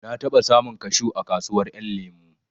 Na taɓa samun kashu a kasuwar ƴan lemo